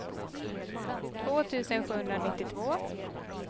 två tusen sjuhundranittiotvå